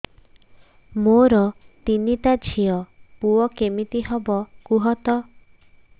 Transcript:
ମୋର ତିନିଟା ଝିଅ ପୁଅ କେମିତି ହବ କୁହତ